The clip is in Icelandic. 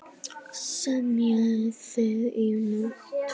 Semjið þið í nótt?